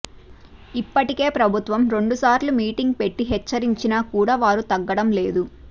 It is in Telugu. ఇప్పటికే ప్రభుత్వం రెండు సార్లు మీటింగ్ పెట్టి హెచ్చరించినా కూడా వారు తగ్గడం లేదు